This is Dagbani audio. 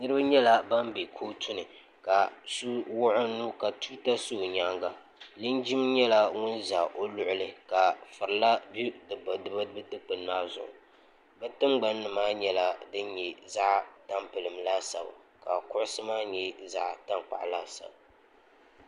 niraba nyɛla ban bɛ kootu ni ka so wuɣi o nuu ka tuuta sa o nyaanga linjin nyɛla ŋun ʒɛ o luɣuli ka furila bɛ bi bini maa zuɣu bi tingbani nim maa nyɛla din nyɛ zaɣ tampilim laasabu ka kuɣusi maa nyɛ zaɣ tankpaɣu laasabu